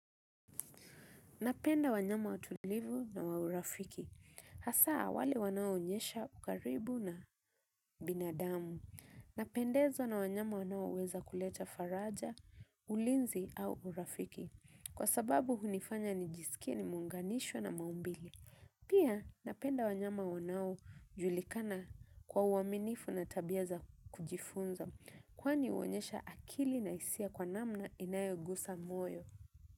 Napenda wanyama watulivu na wa urafiki. Hasa awale wanao onyesha ukaribu na binadamu. Napendezwa na wanyama wanao weza kuleta faraja, ulinzi au urafiki. Kwa sababu hunifanya ni jisikie nimeunganishwa na maumbili. Pia napenda wanyama wanao julikana kwa uaminifu na tabia za kujifunza. Kwani uonyesha akili na isia kwa namna inayogusa moyo.